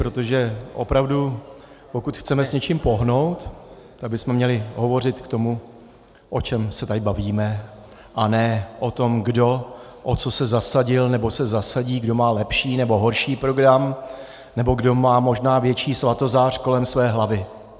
Protože opravdu pokud chceme s něčím pohnout, tak bychom měli hovořit k tomu, o čem se tady bavíme, a ne o tom, kdo o co se zasadil nebo se zasadí, kdo má lepší nebo horší program nebo kdo má možná větší svatozář kolem své hlavy.